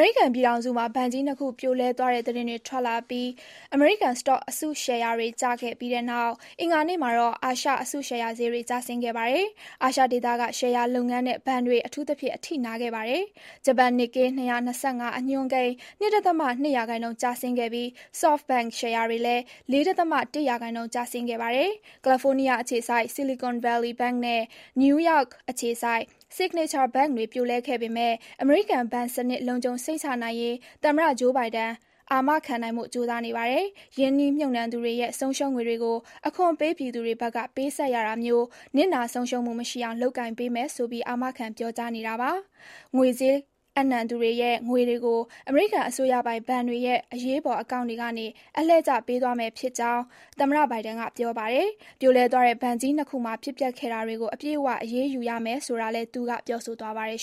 ေရိကန်ပြည်ထောင်စုမှာ ဘဏ်ကြီးနှစ်ခု ပြိုလဲသွားတဲ့ သတင်းတွေထွက်လာပြီး အမေရိကန် စတော့အစုရှယ်ယာတွေကျခဲ့ပြီးတဲ့နောက် အင်္ဂါနေ့မှာတော့ အာရှ အစုရှယ်ယာဈေးတွေလည်း ကျဆင်းခဲ့ပါတယ်။ အာရှဒေသက ရှယ်ယာလုပ်ငန်းနဲ့ ဘဏ်တွေ အထူးသဖြင့် အထိနာခဲ့ပါတယ်။ ဂျပန် နစ်ကေး 225 အညွန်းကိန်း ၂ ဒသမ ၂ ရာခိုင်နှုန်း ကျဆင်းခဲ့ပြီး Softbank ရှယ်ယာတွေလည်း ၄ ဒသမ တစ် ရာခိုင်နှုန်း ကျဆင်းခဲ့ပါတယ်။ ကယ်လီဖိုးနီးယား အခြေစိုက် Silicon Valley Bank နဲ့ နယူးယောက်အခြေစိုက် Signature Bank တွေ ပြိုလဲခဲ့ပေမယ့် အမေရိကန် ဘဏ်စနစ် လုံခြုံစိတ်ချနိုင်ရေး သမ္မတဂျိုးဘိုင်ဒန် အာမခံနိုင်ဖို့ ကြိုးစားနေပါတယ်။ ရင်းနှီးမြှုပ်နှံသူတွေရဲ့ ဆုံးရှုံးငွေတွေကို အခွန်ပေးပြည်သူတွေဘက်က ပေးဆပ်ရတာမျိုး နစ်နာဆုံးရှုးမှု မရှိအောင် လုပ်ကိုင်ပေးမယ်ဆိုပြီး အာမခံ ပြောကြားနေတာပါ။ ငွေကြေးအပ်နှံသူတွေရဲ့ ငွေတွေကို အမေရိကန် အစိုးရပိုင်ဘဏ်တွေရဲ့ အရေးပေါ် အကောင့်တွေကန အလှည့်ကျ ပေးသွားမယ့်အကြောင်း သမ္မတဘိုင်ဒန်က ပြောပါတယ်။ ပြိုလဲသွားတဲ့ ဘဏ်ကြီးနှစ်ခုမှာ ဖြစ်ပျက်ခဲ့တာတွေကို အပြည့်အဝ အရေးယူရမယ်ဆိုတာကိုလည်း သူက ပြောဆိုသွားပါတယ်